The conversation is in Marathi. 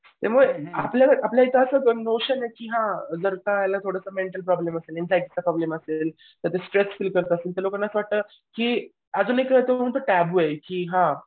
त्यामुळे आपल्याला आपल्या इथं असं आहे की हां जरा का याला मेंटल प्रॉब्लेम आहे चा प्रॉब्लेम असेल जे ते स्ट्रेस्ड फील करत असले तर की अजून एक त्यांचा आहे की हा